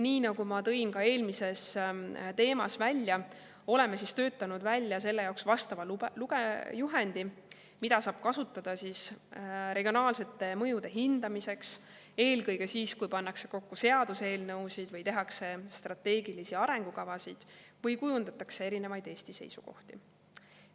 Nii nagu ma tõin ka eelmises teemas esile, oleme töötanud välja selle jaoks vastava juhendi, mida saab kasutada regionaalsete mõjude hindamiseks, eelkõige siis, kui pannakse kokku seaduseelnõusid või tehakse strateegilisi arengukavasid või kujundatakse erinevaid Eesti seisukohti.